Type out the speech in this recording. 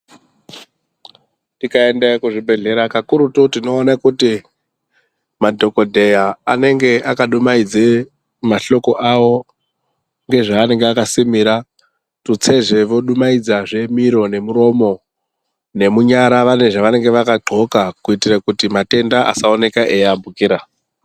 Tikaenda kuzvibhehleya kakurutu tinoone kuti madhokodheya anenge akadumhaidze mahloko awo nezvavanenge akasimira tutsezve odumahidzazve miro nemuromo nemunyara vanenge vane zvavakadhloka kuitikire kuti matenda asaoneke echiambukira.